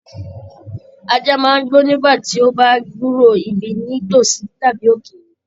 Ajá máa n gbó nígbàtí o bá gburó ibí ní tosí tàbí ókéré.